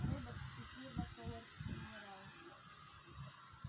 роботс и фирма солар минерала